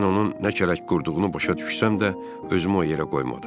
Mən onun nə kələk qurduğunu başa düşsəm də, özümü o yerə qoymadım.